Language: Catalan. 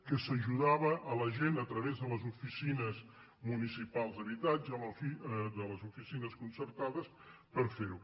que s’ajudava la gent a través de les oficines municipals d’habitatge de les oficines concertades per fer ho